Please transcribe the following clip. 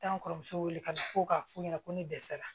Taa n kɔrɔmuso wele ka na fɔ k'a f'u ɲɛna ko ne dɛsɛra